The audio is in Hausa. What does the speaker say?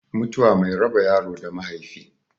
Mutuwa mai raba yaro da mahaifi